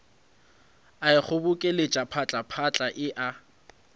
a ikgobokeletša phatlaphatla e a